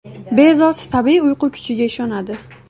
Bezos tabiiy uyqu kuchiga ishonadi.